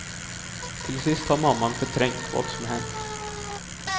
Till sist har mamman förträngt vad som hänt.